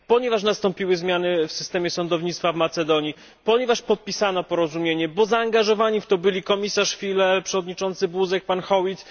ponieważ nastąpiły zmiany w systemie sądownictwa w Macedonii, ponieważ podpisano porozumienie, bo zaangażowani w to byli komisarz Füle, przewodniczący Buzek, pan Howitt.